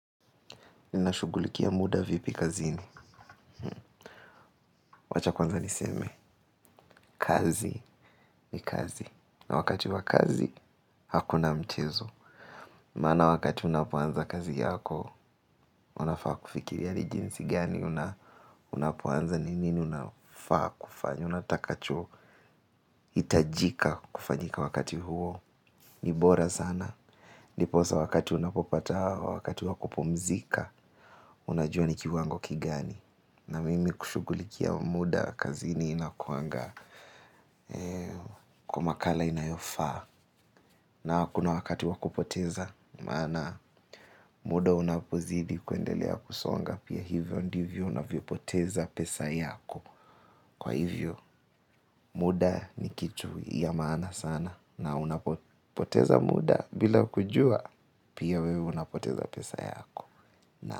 Ninashughulikia muda vipi kazini wacha kwanza niseme, kazi ni kazi na wakati wa kazi hakuna mchezo maana wakati unapoanza kazi yako unafaa kufikiria ni jinsi gani unafaa kufanya unatakacho itajika kufanyika wakati huo ni bora sana ndiposa wakati unapopata wakati wakupumzika unajua ni kiwango kigani. Na mimi kushughulikia muda kazini inakuwanga kwa makala inayofaa na hakuna wakati wa kupoteza maana muda unapozidi kuendelea kusonga pia hivyo ndivyo unavyopoteza pesa yako muda ni kitu ya maana sana na unapopoteza muda bila kujua pia wewe unapoteza pesa yako.